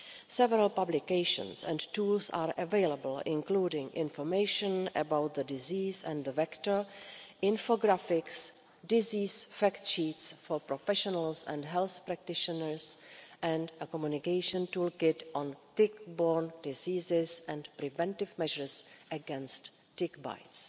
Several publications and tools are available, including information about the disease and the vector infographics disease fact sheets for professionals and health practitioners and a communication toolkit on tick borne diseases and preventive measures against tick bites.